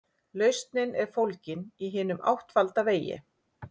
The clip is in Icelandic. Lausnin er fólgin í hinum áttfalda vegi.